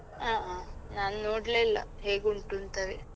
ಆ ಆ ನಾನ್ ನೋಡ್ಲೇ ಇಲ್ಲ ಹೇಗೆ ಉಂಟು ಅಂತವೇ.